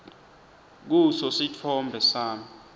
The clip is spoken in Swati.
kuso sitfombe sami